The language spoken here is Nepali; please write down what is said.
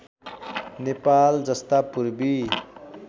नेपाल जस्ता पूर्वी